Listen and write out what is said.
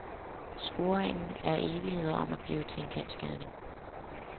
Scoringen er evigheder om at blive til en kendsgerning.